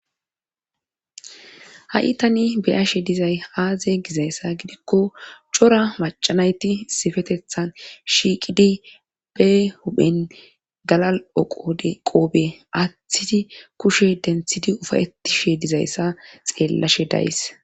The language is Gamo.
Ha7i tani beyashe dizay aaze gizayssa gidikko cora maccanayti sifetethan shiiqidi be huphen galal7oqode qoobe aaththidi kushe denthidi ufayetishe dizayssa xeellashe days.